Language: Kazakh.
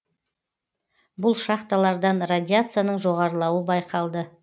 бұл шахталардан радияцияның жоғарылауы байқалды